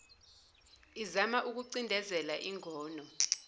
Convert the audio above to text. izama ukucindezela ingono